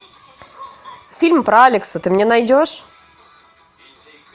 фильм про алекса ты мне найдешь